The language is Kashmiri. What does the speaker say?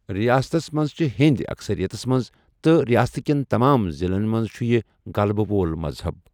رِیاستس منٛز چھِ ہیٚنٛدۍ اکثریَتس منٛز تہٕ رِیاستہٕ کٮ۪ن تمام ضِلعن منٛز چُھ یہِ غلبہٕ وول مذہب۔